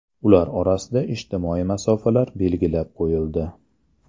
Ular orasida ijtimoiy masofalar belgilab qo‘yildi.